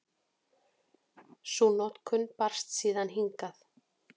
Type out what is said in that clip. Sú notkun barst síðan hingað.